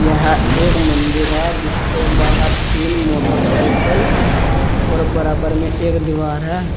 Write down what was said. यह एक मंदिर है जिसके बाहर तीन मोटरसाइकिल और बराबर में एक दीवार है।